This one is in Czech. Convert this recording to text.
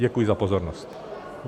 Děkuji za pozornost.